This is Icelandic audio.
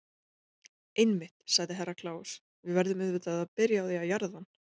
Einmitt, sagði Herra Kláus, við verðum auðvitað að byrja á því að jarða hann.